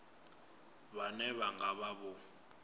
vhane vha nga vha vho